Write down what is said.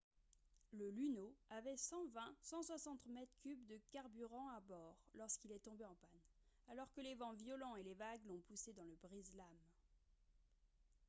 le luno avait 120-160 mètres cubes de carburant à bord lorsqu'il est tombé en panne alors que les vents violents et les vagues l'ont poussé dans le brise-lames